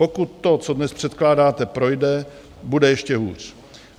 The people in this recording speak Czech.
Pokud to, co dnes předkládáte, projde, bude ještě hůř.